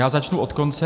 Já začnu od konce.